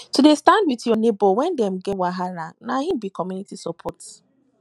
to dey stand wit you nebor wen dem get wahala na im be community support